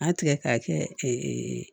A tigɛ k'a kɛ